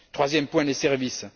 Troisième point les services.